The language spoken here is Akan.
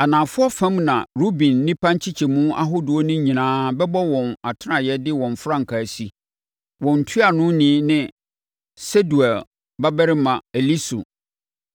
Anafoɔ fam na Ruben nnipa nkyekyɛmu ahodoɔ no nyinaa bɛbɔ wɔn atenaeɛ de wɔn frankaa asi. Wɔn ntuanoni ne Sedeur babarima Elisur.